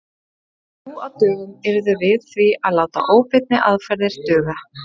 Nú á dögum yrðum við því að láta óbeinni aðferðir duga.